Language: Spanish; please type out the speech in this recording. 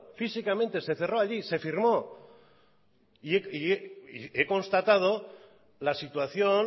físicamente se cerró allí se firmó y he constatado la situación